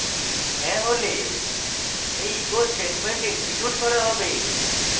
হ্যাঁ হলে এই echo statement এক্সিকিউট করা হবে